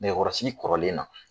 Nɛgɛkɔrɔsigi kɔrɔlen na.